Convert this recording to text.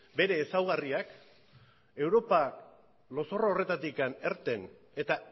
bere ezaugarriak europa lozorro horretatik irten eta